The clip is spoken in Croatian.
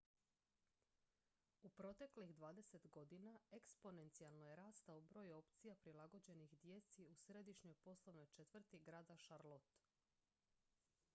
u proteklih 20 godina eksponencijalno je rastao broj opcija prilagođenih djeci u središnjoj poslovnoj četvrti grada charlotte